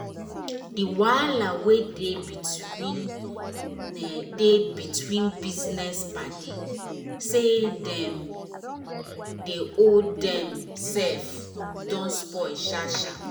the wahala wey dey between um dey between business paddy say dem dey owe dem sef don spoil sharp sharp.